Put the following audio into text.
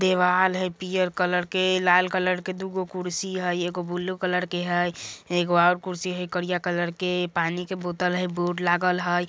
देवाल हय पियर कलर के लाल कलर के दु गो कुर्सी हय एगो ब्लू कलर के हय एगो और कुर्सी हय करिया कलर के पानी के बोतल हय बोर्ड लागल हय।